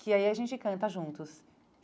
que aí a gente canta juntos.